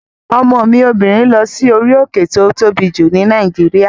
Ọmọ mi obìnrin lọ sí orí òkè tí ó tóbi jù ní Nàìjíríà